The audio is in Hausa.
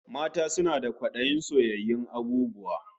Mata suna da kwadayin soyayyun abububwa